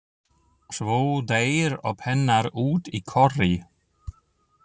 Svo deyr óp hennar út í korri.